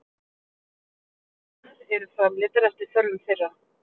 Vörurnar eru framleiddar eftir þörfum þeirra.